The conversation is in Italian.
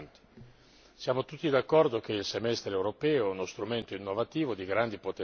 Siamo tutti d'accordo che il Semestre europeo è uno strumento innovativo di grandi potenzialità.